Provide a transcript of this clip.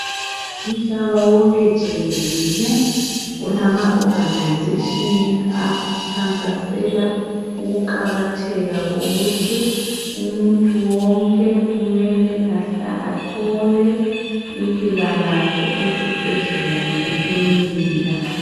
Umhlaba wonke jikelele, ulama organisation akhankasela ukuqakatheka kokuthi umuntu wonke kumele athole impilakahle ezibhedlela lemakilinika.